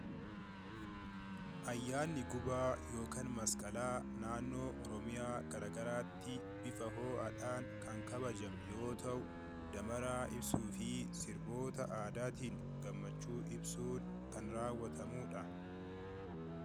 Ayyaanni gubaa yookaan masqalaa kan naannoo Oromiyaa garaagaraattii bifa ho'aadhaan kan kabajamu yoo ta'u damaraa ibsuu fi sirboota aadaatiin gammachuu ibsuun kan raawwatamuudha.